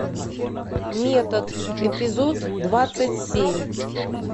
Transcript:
метод эпизод двадцать семь